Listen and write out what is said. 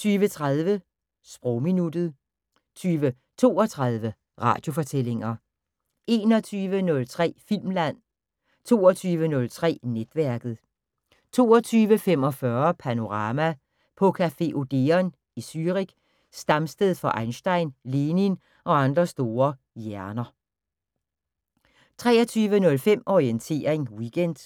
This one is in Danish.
20:30: Sprogminuttet 20:32: Radiofortællinger 21:03: Filmland 22:03: Netværket 22:45: Panorama: På café Odeon i Zürich, stamsted for Einstein, Lenin og andre store hjerner 23:05: Orientering Weekend